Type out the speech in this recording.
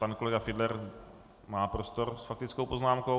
Pan kolega Fiedler má prostor s faktickou poznámkou.